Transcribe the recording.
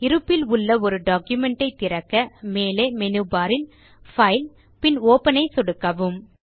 இருப்பில் உள்ள ஒரு டாக்குமென்ட் ஐ திறக்க மேலே மெனுபர் இல் பைல் பின் ஒப்பன் ஐ சொடுக்கவும்